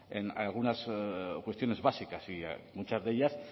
en algunas cuestiones básicas y muchas de ellas